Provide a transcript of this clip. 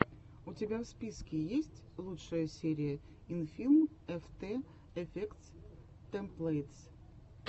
у тебя в списке есть лучшая серия инфилм эфтэ эфектс тэмплэйтс